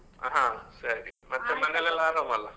ಹಾ ಸರಿ, ಮನೇಲೆಲ್ಲ ಆರಾಮಲ್ಲ?